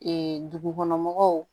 dugukɔnɔmɔgɔw